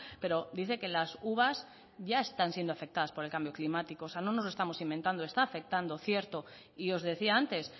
pero dice que las uvas ya están siendo afectadas por el cambio climático o sea no nos estamos inventando está afectando cierto y os decía antes